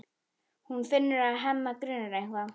Hún finnur að Hemma grunar eitthvað.